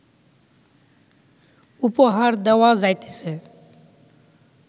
উপহার দেওয়া যাইতেছে